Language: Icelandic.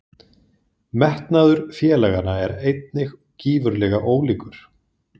Metnaður félaganna eru einnig gífurlega ólíkur.